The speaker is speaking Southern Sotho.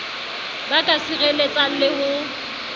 ba ka sireletsang le ho